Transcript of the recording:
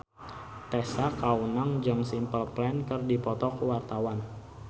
Tessa Kaunang jeung Simple Plan keur dipoto ku wartawan